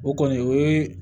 O kɔni o ye